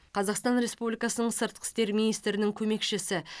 қазақстан республикасының сыртқы істер министрінің көмекшісі